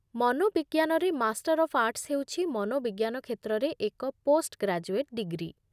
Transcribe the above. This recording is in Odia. ମନୋବିଜ୍ଞାନରେ ମାଷ୍ଟର୍ ଅଫ୍ ଆର୍ଟସ୍ ହେଉଛି ମନୋବିଜ୍ଞାନ କ୍ଷେତ୍ରରେ ଏକ ପୋଷ୍ଟ୍ଗ୍ରାଜୁଏଟ୍ ଡିଗ୍ରୀ